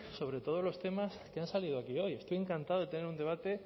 sobre todos los temas que han salido aquí hoy estoy encantado de tener un debate